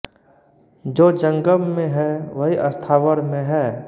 जो जंगम में है वही स्थावर में है